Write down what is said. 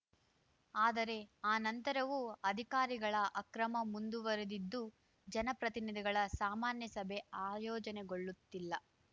ಆದರೆ ಆ ನಂತರವೂ ಅಧಿಕಾರಿಗಳ ಅಕ್ರಮ ಮುಂದುವರಿದಿದ್ದು ಜನಪ್ರತಿನಿಧಿಗಳ ಸಾಮಾನ್ಯ ಸಭೆ ಆಯೋಜನೆಗೊಳ್ಳುತ್ತಿಲ್ಲ